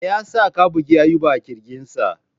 Me yasa ka bugi Ayuba a kirjinsa?